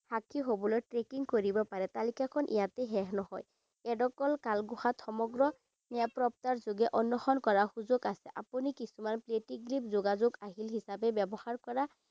সাক্ষী হবলৈ trekking কৰিব পাৰে। তালিকাখন ইয়াতে শেষ নহয়। ইয়াত অকল কালগুহাত সমগ্ৰ নিৰাপত্তাৰ যোগে অন্বেষণ কৰাৰ সুযোগ আছে। আপুনি কিছুমান creative grip যোগাযোগ আহিল হিচাপে ব্যৱহাৰ কৰা